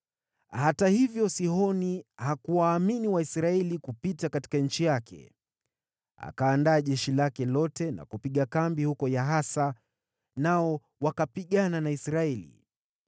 Hata hivyo, Sihoni hakuwaamini Waisraeli kupita katika nchi yake. Akaandaa jeshi lake lote na kupiga kambi huko Yahasa, nao wakapigana na Israeli.